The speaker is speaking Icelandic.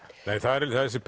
nei það er þessi